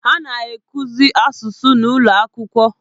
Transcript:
A na-akụzi asụsụ n'ụlọ akwụkwọ.